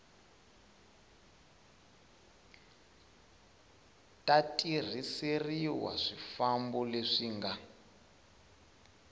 ta tirhiseriwa swifambo leswi nga